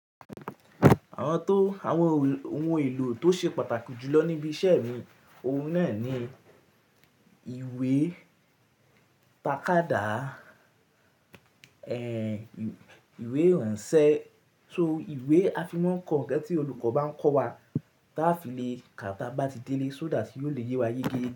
Àwọn tó àwọn ohun èlò tó ṣe pàtàkì jù lọ níbí iṣẹ́ mi, ohun náà ni ìwé, tàkádá, ẹ, ìwé ìránṣẹ́ so ìwé a fi máa ń kọ ǹkan tí olùkọ́ bá ń kọ́ wa ta a fi le ka tí a bá ti délé sódà tí yóò le yé wa yé ge.